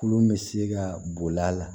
Kulu bɛ se ka boli a la